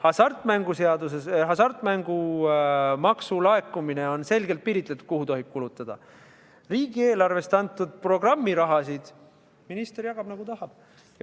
Hasartmängumaksu seaduses on hasartmängumaksu puhul selgelt piiritletud, mille peale seda tohib kulutada, kuid riigieelarvest antud programmiraha jagab minister nii, nagu tahab.